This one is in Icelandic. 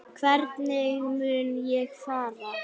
Hvernig mun ég fara?